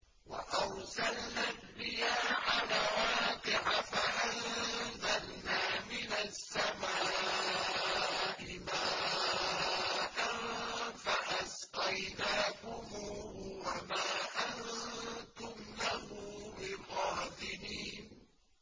وَأَرْسَلْنَا الرِّيَاحَ لَوَاقِحَ فَأَنزَلْنَا مِنَ السَّمَاءِ مَاءً فَأَسْقَيْنَاكُمُوهُ وَمَا أَنتُمْ لَهُ بِخَازِنِينَ